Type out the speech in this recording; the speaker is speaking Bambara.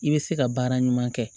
I bɛ se ka baara ɲuman kɛ